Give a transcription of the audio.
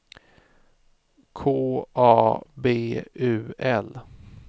K A B U L